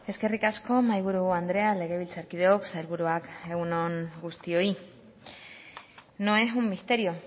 eskerrik asko mahi buru andrea legebiltzarkideok sailburuak egun on guztioi no es un misterio